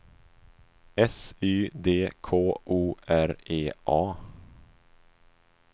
S Y D K O R E A